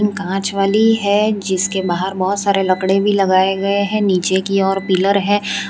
कांच वाली है जिसके बाहर बहोत सारे लकड़े भी लगाए गए हैं नीचे की ओर पिलर है।